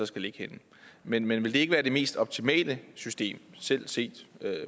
skal ligge henne men ville det ikke være det mest optimale system selv set